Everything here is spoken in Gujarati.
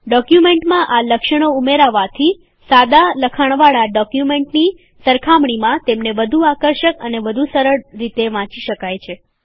ડોક્યુમેન્ટમાં આ લક્ષણો ઉમેરવાથી સાદા લખાણવાળા ડોક્યુમેન્ટની સરખામણીમાં તેમને વધુ આકર્ષક અને વધુ સરળ રીતે વાંચી શકાય છે